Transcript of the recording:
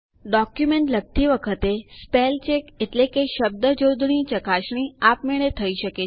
document લખતી વખતે spell check શબ્દજોડણી ચકાસણી આપમેળે થઇ શકે છે